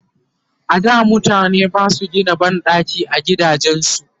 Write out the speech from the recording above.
a da mutane Basu Gina banɗaki a gidajen su